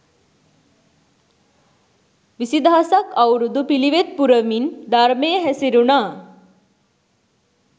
විසි දහසක් අවුරුදු පිළිවෙත් පුරමින් ධර්මයේ හැසිරුණා